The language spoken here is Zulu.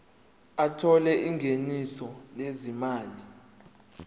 othola ingeniso lezimali